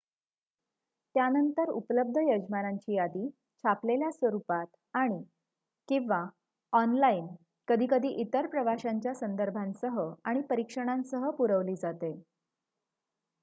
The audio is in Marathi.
त्यानंतर उपलब्ध यजमानांची यादी छापलेल्या स्वरुपात आणि/किंवा ऑनलाइन कधीकधी इतर प्रवाशांच्या संदर्भांसह आणि परीक्षणांसह पुरवली जाते